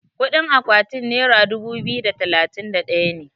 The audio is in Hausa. kudin akwaatin naira dubu biyu da talatin da daya ne